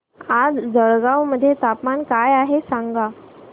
आज जळगाव मध्ये तापमान काय आहे सांगा